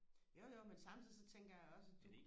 jo jo men samtidig så tænker jeg også at